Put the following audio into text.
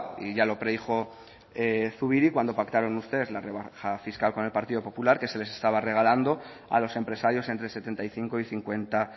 y ya lo predijo zubiri cuando pactaron ustedes la rebaja fiscal con el partido popular que se les estaba regalando a los empresarios entre setenta y cinco y cincuenta